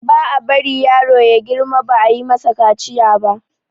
ba a bari yaro ya girma ba ayi masa kaciya ba